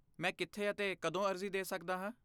ਮੈਂ ਕਿੱਥੇ ਅਤੇ ਕਦੋਂ ਅਰਜ਼ੀ ਦੇ ਸਕਦਾ ਹਾਂ?